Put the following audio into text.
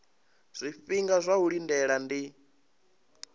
zwifhinga zwa u lindela ndi